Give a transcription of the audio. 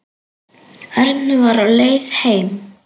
Örn var á leið heim.